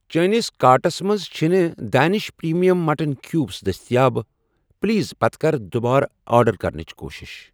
چٲنِس کارٹس مَنٛز چھنہٕ ڈینِش پرٛیٖمیم مٹن کیوٗبٕس دٔسیتاب، پلیز پتہٕ کر دُبارٕ آرڈر کرنٕچ کوٗشش۔